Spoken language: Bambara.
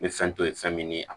N bɛ fɛn to ye fɛn min ye